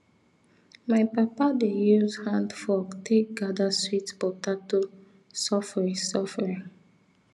my papa dey use handfork take gather sweet potato sofri sofri